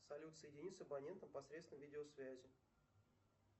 салют соедини с абонентом посредством видеосвязи